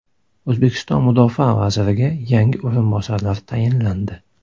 O‘zbekiston mudofaa vaziriga yangi o‘rinbosarlar tayinlandi.